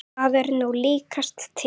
Það er nú líkast til.